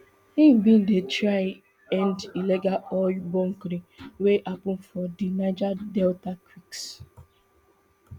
im bin dey try end illegal oil bunkering wey dey happun for di niger delta creeks